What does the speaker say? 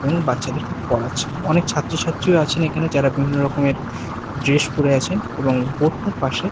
এবং বাচ্চাদেরকে পড়াচ্ছেন অনেক ছাত্র-ছাত্রীরা আছেন এইখানে যারা বিভিন্ন রকমের ড্রেস পরে আছেন এবং বোর্ড -টার পাশে--